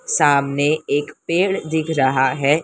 सामने एक पेड़ दिख रहा है।